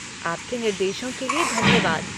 आपके निर्देशों के लिए धन्यवाद।